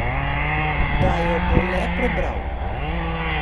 Da jo bo le prebral.